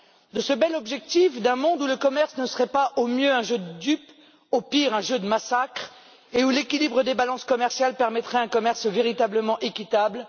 De ce bel objectif d'un monde où le commerce ne serait pas, au mieux, un jeu de dupes, au pire, un jeu de massacre, et où l'équilibre des balances commerciales permettrait un commerce véritablement équitable.